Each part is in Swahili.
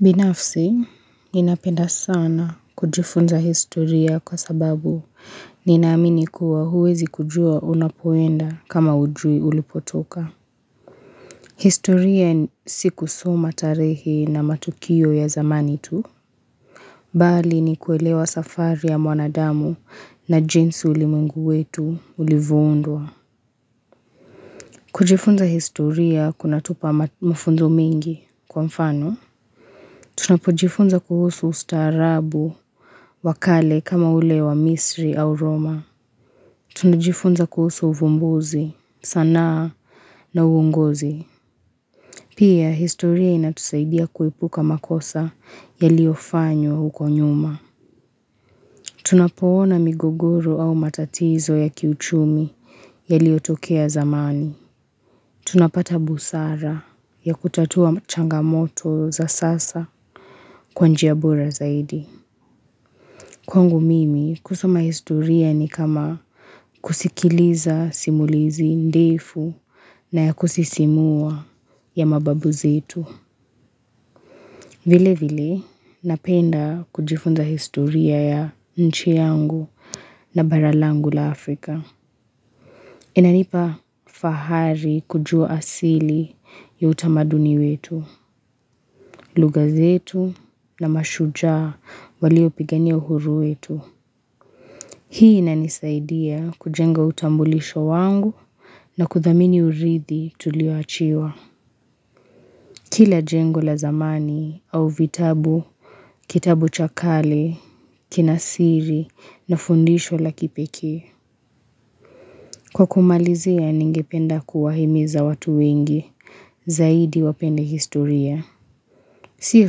Binafsi, ninapenda sana kujifunza historia kwa sababu ninaamini kuwa huwezi kujua unapoenda kama hujui ulipotoka. Historia ni si kusoma tarehe na matukio ya zamani tu. Bali ni kuelewa safari ya mwanadamu na jinsi ulimwengu wetu ulivoundwa. Kujifunza historia kunatupa mafunzo mengi kwa mfano. Tunapojifunza kuhusu ustaarabu wa kale kama ule wa misri au Roma. Tunajifunza kuhusu uvumbuzi sanaa na uongozi. Pia historia inatusaidia kuepuka makosa yaliofanywa huko nyuma. Tunapoona migogoro au matatizo ya kiuchumi yaliotokea zamani. Tunapata busara ya kutatua changamoto za sasa kwa njia bora zaidi. Kwangu mimi kusoma historia ni kama kusikiliza simulizi ndefu na ya kusisimua ya mababu zetu. Vile vile napenda kujifunza historia ya nchi yangu na bara langu la Afrika. Inanipa fahari kujua asili ya utamaduni wetu, lugha zetu na mashujaa waliopigania uhuru wetu. Hii inanisaidia kujenga utambulisho wangu na kuthamini uridhi tulioachiwa. Kila jengo la zamani au vitabu, kitabu cha kale, kina siri na fundisho la kipekee. Kwa kumalizia ningependa kuwahimiza watu wengi, zaidi wapende historia. Sio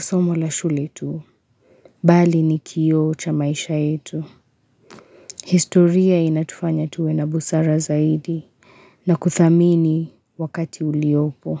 somo la shule tu, bali ni kioo cha maisha yetu. Historia inatufanya tuwe na busara zaidi na kuthamini wakati uliopo.